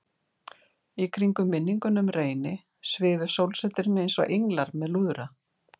Í kringum minninguna um Reyni svifu sólsetrin einsog englar með lúðra.